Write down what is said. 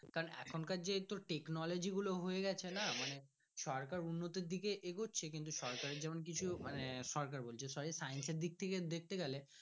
এখনকার কার যেহেতু technology গুলো হয়ে গাচ্ছে না সরকার উন্নতি দিকে এগোচ্ছে কিন্তু সরকার যখন মানে সরকার বলছি sorry science দিক থেকে দেখতে গেলে।